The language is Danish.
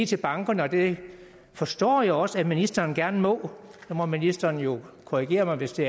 til bankerne og det forstår jeg også at ministeren gerne må og ministeren må jo korrigere mig hvis det